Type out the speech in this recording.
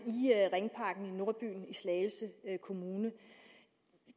nordbyen i slagelse kommune